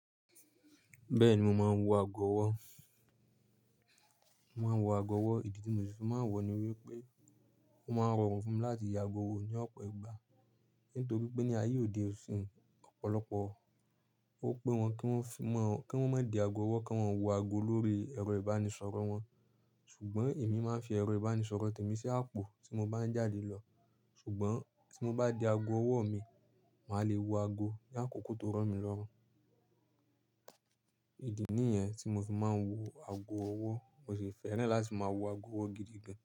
Bẹ́ẹ̀ni mo máa ń wọ ago ọwọ́. Mo máa ń wọ ago ọwọ́. Ìdí tí mo fi sin máa ń wọ ni wípé ó máa ń rọrùn fún wọn láti ye ago wọn ní ọ̀pọ̀ ìgbà. Nítorí pé ní ayé òde òṣìn ọ̀pọ̀lọpọ̀ ó pé wọn kí wọ́n má di ago ọwọ́, kí wọ́n wọ ago lórí ẹrọ ìbánisọ̀rọ̀ wọn. Ṣùgbọ́n èmi máa ń fi ẹrọ ìbánisọ̀rọ̀ tèmi sí àpò tí mo bá ń jáde lọ. Ṣùgbọ́n tí mo bá de ago ọwọ́ mi, màá lè wo ago ní àkókò tó rọ̀ mí lọ́run. Ìdí nìyẹn tí mo fi máa ń wọ ago ọwọ́, mo sì fẹ́ràn láti máa wọ ago ọwọ́ gidi gan.